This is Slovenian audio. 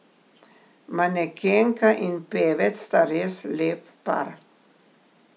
Manekenka in pevec sta res lep par.